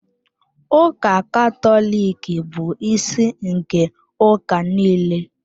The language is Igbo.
Ụka Katọlik bụ isi nke ụka niile.